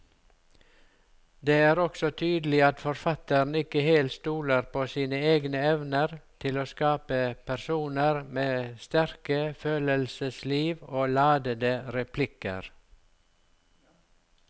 Det er også tydelig at forfatteren ikke helt stoler på sine egne evner til å skape personer med sterke følelsesliv og ladete replikker.